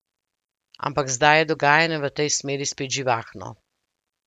Ampak zdaj je dogajanje v tej smeri spet živahno.